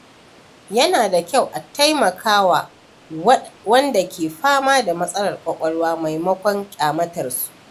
Yana da kyau a taimaka wa wanda ke fama da matsalar kwakwalwa maimakon ƙyamatarsa.